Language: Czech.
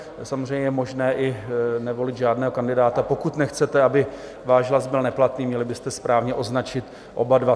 Samozřejmě je možné i nevolit žádného kandidáta - pokud nechcete, aby váš hlas byl neplatný, měli byste správně označit oba dva.